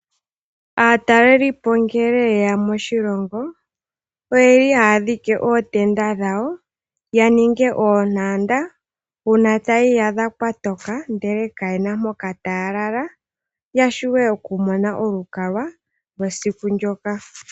Aataleli po ngele ye ya moshilongo oye li haya dhike ootenda dhawo, ya ninge oontanda, uuna taya iyadha kwatoka ndele ka ye na mpoka taya lala ya, shiwe oku mona olukalwa lwesiku ndoka.